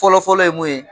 Fɔlɔfɔlɔ ye mun ye